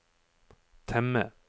temme